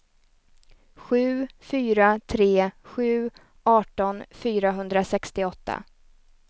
sju fyra tre sju arton fyrahundrasextioåtta